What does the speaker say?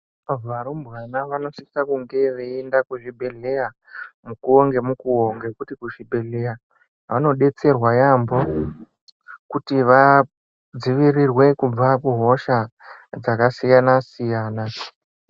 Varumbwana vanositsa kunge vaienda kuzvibhedhleya mukuwo ngemukuwo ngekuti kuzvibhedhleya vanodetserwa yaambo kuti vadzivirirwe kubva kuhosha dzakasiyana siyana.